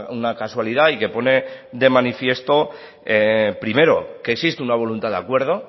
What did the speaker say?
una casualidad y que pone de manifiesto primero que existe una voluntad de acuerdo